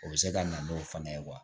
O bɛ se ka na n'o fana ye wa